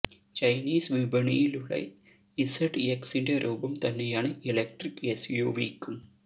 Chinese വിപണിയിലുള്ള ഇസഡ്എക്സിന്റെ രൂപം തന്നെയാണ് എലക്ട്രിക് എസ് യു വി യ്ക്കും